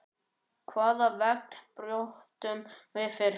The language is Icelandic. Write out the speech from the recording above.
Hvaða vegg brjótum við fyrst?